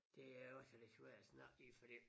Det er jo sådan en svær snak ik fordi